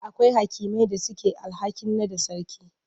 Akwai hakimai da suke da alhakin naɗa sarki.